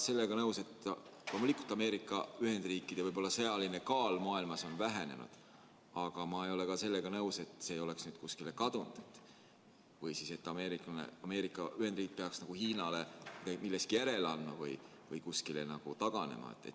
Loomulikult Ameerika Ühendriikide sõjaline kaal maailmas on vähenenud, aga ma ei ole nõus selle mõttega, nagu oleks see nüüd kuskile kadunud või et Ameerika Ühendriigid peaksid Hiinale milleski järele andma või kuskile taganema.